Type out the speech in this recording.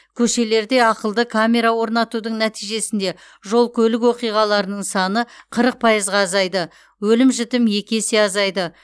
көшелерде ақылды камера орнатудың нәтижесінде жол көлік оқиғаларының саны қырық пайызға азайды өлім жітім екі есе азайды